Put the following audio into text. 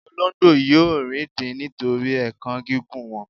olongbo yíò rindin nitori èékán gígùn wọn